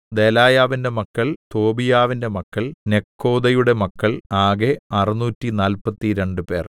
ദെലായാവിന്റെ മക്കൾ തോബീയാവിന്റെ മക്കൾ നെക്കോദയുടെ മക്കൾ ആകെ അറുനൂറ്റി നാല്പത്തിരണ്ട് പേർ